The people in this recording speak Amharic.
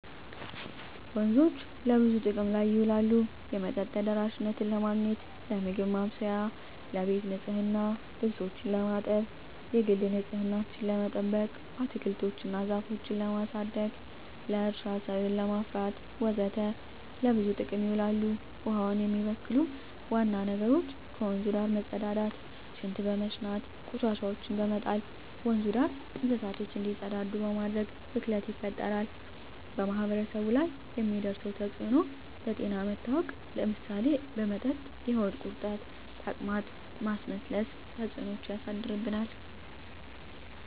ወንዞች ለብዙ ጥቅም ላይ ይውላሉ የመጠጥ ተደራሽነትን ለማግኘት, ለምግብ ማብሰያ , ለቤት ንፅህና , ልብሶችን ለማጠብ, የግል ንፅህናችን ለመጠበቅ, አትክልቶች እና ዛፎችን ለማሳደግ, ለእርሻ ሰብል ለማፍራት ወዘተ ለብዙ ጥቅም ይውላል። ውሀውን የሚበክሉ ዋና ነገሮች ከወንዙ ዳር መፀዳዳት , ሽንት በመሽናት, ቆሻሻዎችን በመጣል, ወንዙ ዳር እንስሳቶች እንዲፀዳዱ በማድረግ ብክለት ይፈጠራል። በማህበረሰቡ ላይ የሚያደርሰው ተፅዕኖ ለጤና መታወክ ለምሳሌ በመጠጥ የሆድ ቁርጠት , ተቅማጥ, ማስመለስ ተፅዕኖች ያሳድርብናል።